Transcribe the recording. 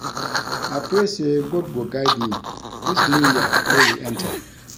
I pray say God go guide me dis new year wey we enter